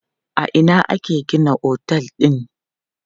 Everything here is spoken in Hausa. A ina aka gina otel din?